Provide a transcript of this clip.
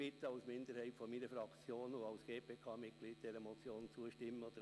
Dort hatte man 38 Mio. Franken praktisch in den Sand gesetzt.